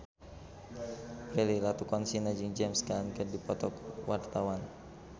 Prilly Latuconsina jeung James Caan keur dipoto ku wartawan